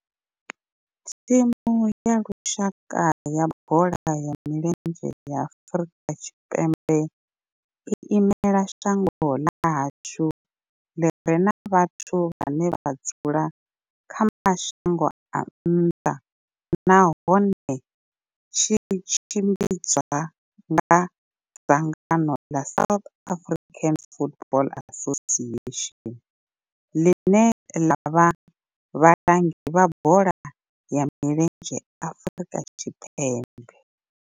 Thimu ya lushaka ya bola ya milenzhe ya Afrika Tshipembe i imela shango ḽa hashu ḽi re na vhathu vhane vha dzula kha mashango a nnḓa nahone tshi tshimbidzwa nga dzangano ḽa South African Football Association, ḽine ḽa vha vhalangi vha bola ya milenzhe Afrika Tshipembe.